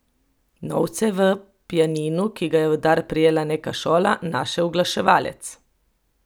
Novce je v pianinu, ki ga je v dar prejela neka šola, našel uglaševalec.